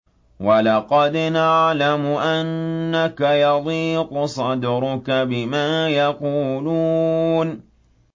وَلَقَدْ نَعْلَمُ أَنَّكَ يَضِيقُ صَدْرُكَ بِمَا يَقُولُونَ